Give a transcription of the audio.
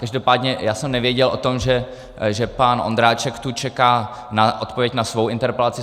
Každopádně já jsem nevěděl o tom, že pan Ondráček tu čeká na odpověď na svou interpelaci.